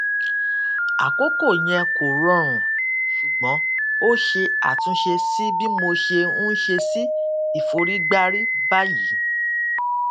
àkókò yẹn kò rọrùn ṣùgbọn ó ṣe àtúnṣe sí bí mo ṣe ń ṣe sí ìforígbárí báyìí